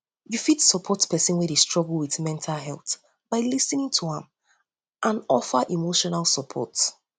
you fit support someone wey dey struggle with mental health by lis ten ing for im and offer emotional support